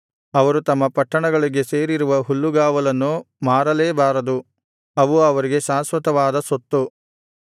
ಅವರು ತಮ್ಮ ಪಟ್ಟಣಗಳಿಗೆ ಸೇರಿರುವ ಹುಲ್ಲುಗಾವಲನ್ನು ಮಾರಲೇಬಾರದು ಅವು ಅವರಿಗೆ ಶಾಶ್ವತವಾದ ಸ್ವತ್ತು